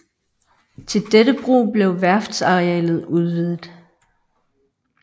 Til dette brug blev værftsarealet udvidet